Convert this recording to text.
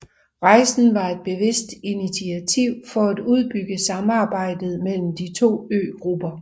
Rejsen var et bevidst initiativ for at udbygge samarbejdet mellem de to øgrupper